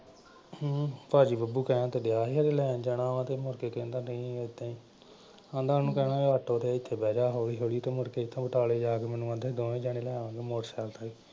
ਹਮ ਭਾਜੀ ਬੱਬੂ ਕਹਿਣ ਤੇ ਡੈਆ ਸੀ ਵੀ ਲੈਣ ਜਾਣਾ ਤੇ ਮੁੜ ਕੇ ਕਹਿੰਦਾ ਨਈਂ ਏਦਾਂ ਈ। ਆਂਹਦਾ ਉਹਨੂੰ ਕਹਿਣਾ ਵੀ ਆਟੋ ਤੇ ਇੱਥੇ ਬਹਿ ਜਾ ਹੌਲੀ ਹੌਲੀ ਤੇ ਮੁੜ ਕੇ ਇੱਥੋਂ ਬਟਾਲੇ ਜਾ ਕੇ ਮੈਨੂੰ ਆਂਹਦਾ ਦੋਵੇਂ ਜਾਣੇ ਲੈ ਆਵਾਂਗੇ ਮੋਟਰ ਸਾਈਕਲ ਤੇ।